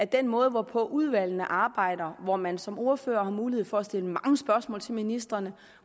den måde hvorpå udvalgene arbejder hvor man som ordfører har mulighed for at stille mange spørgsmål til ministrene